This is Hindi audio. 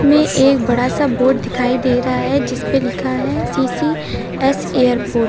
ये एक बड़ा सा बोर्ड दिखाई दे रहा है जिसपे लिखा है सी_सी एस एयरपोर्ट ।